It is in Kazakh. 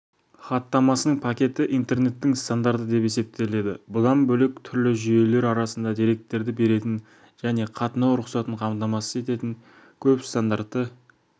хаттамасының пакеті интернеттің стандарты деп есептеледі бұдан бөлек түрлі жүйелер арасында деректерді беретін және қатынау рұқсатын қамтамасыз ететін көп стандартты